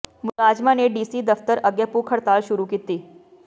ਮੁਲਾਜ਼ਮਾਂ ਨੇ ਡੀਸੀ ਦਫ਼ਤਰ ਅੱਗੇ ਭੁੱਖ ਹੜਤਾਲ ਸ਼ੁਰੂ ਕੀਤੀ